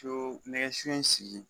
co nɛgɛ so in sigi